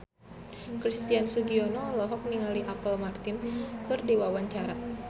Christian Sugiono olohok ningali Apple Martin keur diwawancara